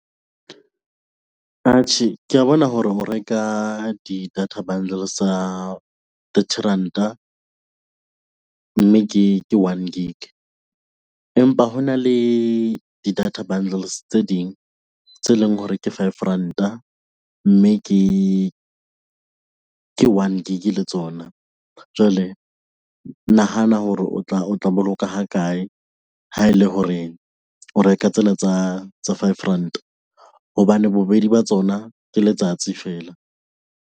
Atjhe, kea bona hore ho reka di-data bundles tsa thirty ranta mme ke ke one gig. Empa hona le di data bundles tse ding tse leng hore ke five ranta, mme ke ke one gig le tsona. Jwale nahana hore o tla o tla boloka ha kae ha e le hore o reka tsela tsa tsa five ranta, hobane bobedi ba tsona ke letsatsi feela.